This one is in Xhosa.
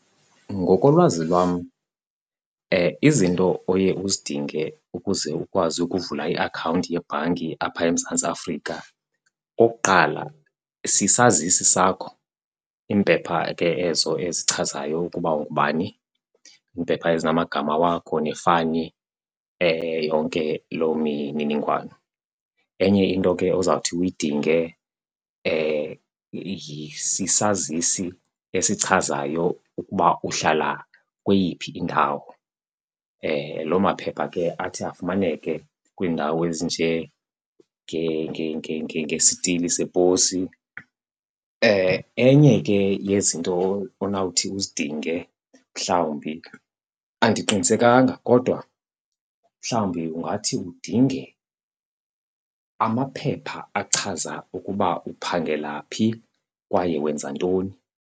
Ngokolwazi lwam izinto oye uzidinge ukuze ukwazi ukuvula iakhawunti yebhanki apha eMzantsi Afrika okokuqala, sisazisi sakho. Iimpepha ke ezo ezichazayo ukuba ungubani, iimpepha ezinamagama wakho nefani, yonke loo mininingwane. Enye into ke ozawuthi uyidinge sisazisi esichazayo ukuba uhlala kweyiphi indawo. Loo maphepha ke athi afumaneke kwiindawo ngesithili seposi. Enye ke yezinto onawuthi uzidinge mhlawumbi, andiqinisekanga, kodwa mhlawumbi ungathi udinge amaphepha achaza ukuba uphangela phi kwaye wenza ntoni.